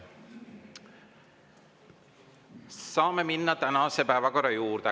Saame minna tänase päevakorra juurde.